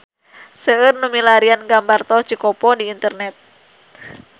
Seueur nu milarian gambar Tol Cikopo di internet